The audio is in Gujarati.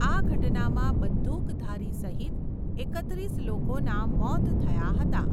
આ ઘટનામાં બંદૂકધારી સહિત એકત્રીસ લોકોના મોત થયા હતા.